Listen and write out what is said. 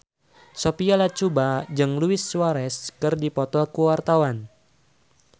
Sophia Latjuba jeung Luis Suarez keur dipoto ku wartawan